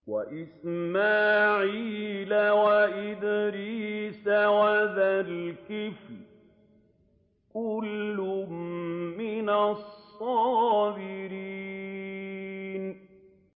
وَإِسْمَاعِيلَ وَإِدْرِيسَ وَذَا الْكِفْلِ ۖ كُلٌّ مِّنَ الصَّابِرِينَ